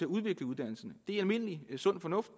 udvikle uddannelserne det er almindelig sund fornuft